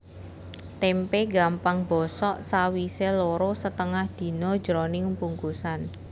Témpé gampang bosok sawisé loro setengah dina jroning bungkusan